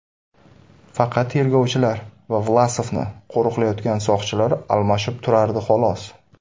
Faqat tergovchilar va Vlasovni qo‘riqlayotgan soqchilar almashib turardi xolos.